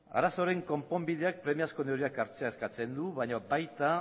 arazoaren konponbideak premiazko neurriak hartzea eskatzen du baina baita